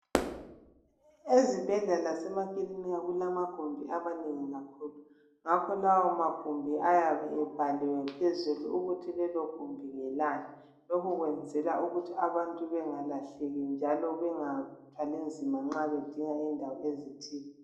Ezibhedlela lasemakilinika kulamagumbi amanengi kakhulu ngakho lawo magumbi ayabe ebhaliwe phezulu ukuthi lelogumbi ngelani, lokho kwenzela ukuthi abantu bengalahleki njalo bengathwali nzima nxa bedinga indawo ezithile.